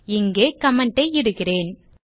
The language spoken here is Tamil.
இங்கே கமெண்ட் ஐ இடுகிறேன்